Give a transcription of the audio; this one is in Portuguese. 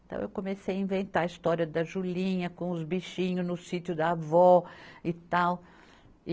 Então eu comecei a inventar a história da Julinha com os bichinhos no sítio da avó e tal.